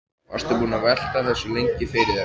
Varstu búinn að velta þessu lengi fyrir þér?